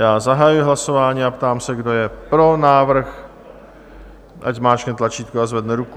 Já zahajuji hlasování a ptám se, kdo je pro návrh, ať zmáčkne tlačítko a zvedne ruku.